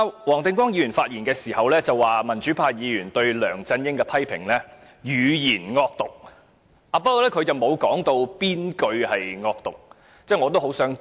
黃定光議員昨天發言時說，民主派議員批評梁振英時"語言惡毒"，但他沒有指出哪句話是惡毒的，我很想知道。